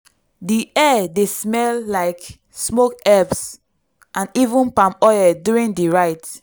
di air dey smell like smoke herbs and even palm oil during di rite.